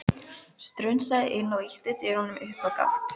Strunsaði inn og ýtti dyrunum upp á gátt.